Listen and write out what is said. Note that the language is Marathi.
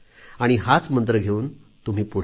हाच मंत्र घेऊन तुम्ही पुढे जा